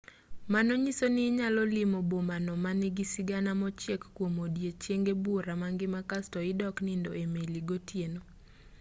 mano nyiso ni inyalo limo boma no manigi sigana mochiek kuom ondiechenge buora mangima kasto idok nindo e meli gotieno